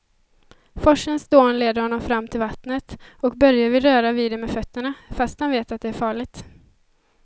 Forsens dån leder honom fram till vattnet och Börje vill röra vid det med fötterna, fast han vet att det är farligt.